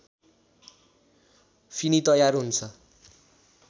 Finney तयार हुन्छ